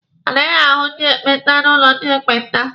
A naghị ahu ndi ekpenta n'ụlọ ndị ekpenta.